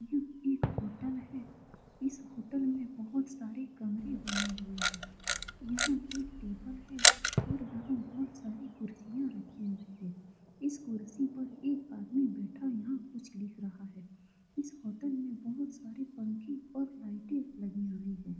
यह एक होटल है इस होटल में बहुत सारे कमरे बने हुए है यहाँ एक टेबल है और यहाँ ढेर सारी कुर्सियाँ रखी हुई हैं इस कुर्सी पर एक आदमी बैठा हुआ कुछ लिख रहा है इस होटल में बहुत सारे पंखे और लाइटे लगी हुए हैं ।